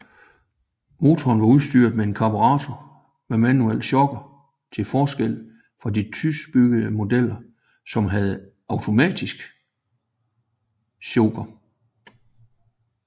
Motoren var udstyret med karburator med manuel choker til forskel fra de tyskbyggede modeller som havde automatisk choker